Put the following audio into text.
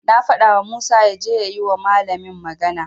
Na fadawa Musa yaje ya yi wa malamin magana.